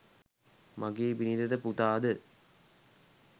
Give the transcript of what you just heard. මගේ බිරිඳ ද පුතා ද